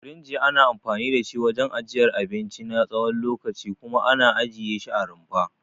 Firinji ana anfani da shi wajen ajiyar abinci na tsawon lokaci kuma ana ajiye shi a rumfa.